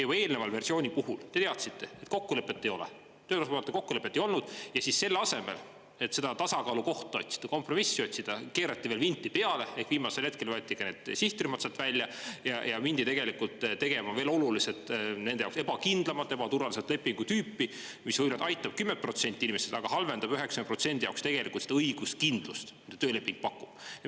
Juba eelneva versiooni puhul te teadsite, et kokkulepet ei ole, töö osapoolte kokkulepet ei olnud, ja siis selle asemel et seda tasakaalukohta otsida, kompromissi otsida, keerati veel vinti peale, ehk viimasel hetkel võeti ka need sihtrühmad sealt välja ja mindi tegelikult tegema veel oluliselt nende jaoks ebakindlamat, ebaturvalisemat lepingu tüüpi, mis ….. aitab 10% inimestest, aga halvendab 90% jaoks tegelikult seda õiguskindlust, mida tööleping pakub.